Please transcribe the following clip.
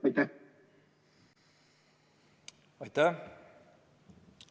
Aitäh!